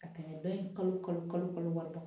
Ka tɛmɛ dɔ ye kalo kalo wɔɔrɔ kan